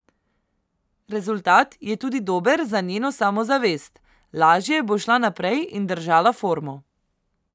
Rezultat je tudi dober za njeno samozavest, lažje bo šla naprej in držala formo.